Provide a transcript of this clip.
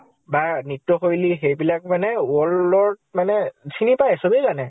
বা নৃত্য় শৈলী সেইবিলাক মানে world ত মানে চিনি পায়, চবে জানে।